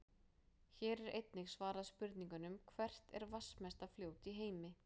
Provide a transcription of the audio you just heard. Hér er einnig svarað spurningunum: Hvert er vatnsmesta fljót í heimi?